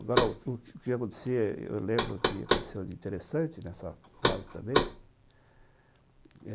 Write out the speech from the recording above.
Agora, o que que acontecia, eu lembro que aconteceu de interessante nessa fase também.